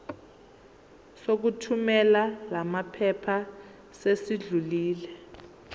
sokuthumela lamaphepha sesidlulile